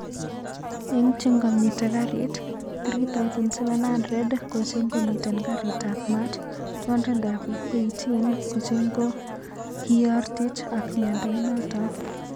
Eng chengomiten garit,3700 ko chengomiten garit ap mat ,218 ko chengokiyortich ak miando inaton